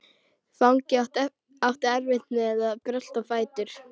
Fanginn átti erfitt með að brölta á fætur.